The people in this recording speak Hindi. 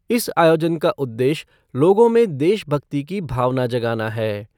इस आयोजन का उद्देश्य लोगों में देशभक्ति की भावना जगाना है।